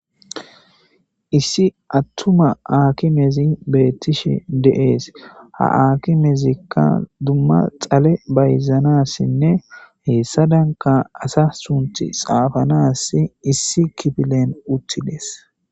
Issi attuma akimezi beettishe de7ees ha akimezikka dumma xale bayzanassinne heessadanka asa sunti xaafanas issi kifilen uttidees.